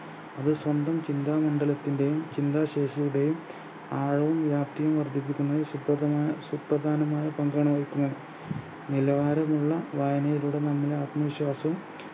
അവ സ്വന്തം ചിന്താമണ്ഢലത്തിൻറെയും ചിന്താശേഷിയുടെയും ആഴവും വ്യാപ്‌തിയും വർധിപ്പിക്കുന്നതിന് സുപ്രധാന സുപ്രധാനമായ പങ്കാണ് വഹിക്കുന്നത് നിലവാരമുള്ള വായനയിലൂടെ നമ്മുടേ ആത്മവിശ്വാസം